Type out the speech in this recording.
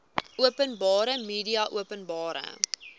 openbare media openbare